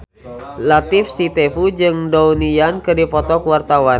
Latief Sitepu jeung Donnie Yan keur dipoto ku wartawan